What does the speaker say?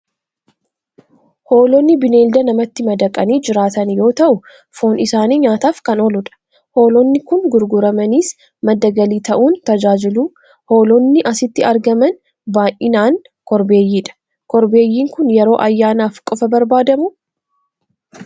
Hoolonni bineelda namatti madaqanii jiraatan yoo ta'u, foon isaanii nyaataaf kan ooludha. Hoolonni kun gurguramaniis madda galii ta'uun tajaajilu. Hoolonni asitti argaman baay'inaan korbeeyyiidha. Korbeeyyiin kun yeroo ayyaanaaf qofaa barbaadamuu?